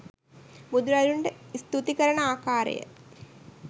බුදුරදුන්ට ස්තුති කරන ආකාරය